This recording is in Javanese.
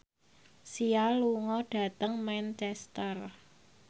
Sia lunga dhateng Manchester